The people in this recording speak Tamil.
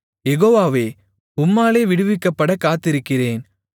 யெகோவாவே உம்மாலே விடுவிக்கப்படக் காத்திருக்கிறேன்